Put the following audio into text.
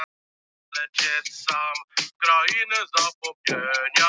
En ég nefni það bara einu sinni.